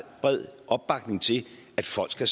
bred opbakning til at folk så